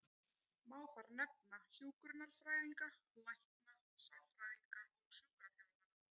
Má þar nefna hjúkrunarfræðinga, lækna, sálfræðinga og sjúkraþjálfara.